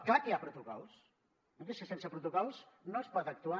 és clar que hi ha protocols és que sense protocols no es pot actuar